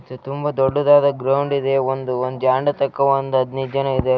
ತುಂಬಾ ದೊಡ್ಡದಾದ ಗ್ರೌಂಡ್‌ ಇದೆ ಒಂದು ಒಂದು ಜಾಂಡಾ ತಕ್ಕ ಹದಿನೈದು ಜನ ಇದೆ.